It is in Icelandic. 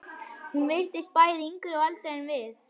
Hún virtist bæði yngri og eldri en við.